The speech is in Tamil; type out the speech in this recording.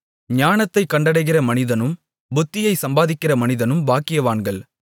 ஞானத்தைக் கண்டடைகிற மனிதனும் புத்தியைச் சம்பாதிக்கிற மனிதனும் பாக்கியவான்கள்